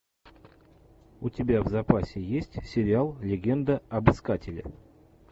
у тебя в запасе есть сериал легенда об искателе